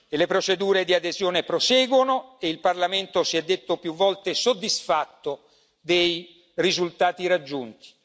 Le procedure di adesione proseguono e il Parlamento si è detto più volte, soddisfatto dei risultati raggiunti.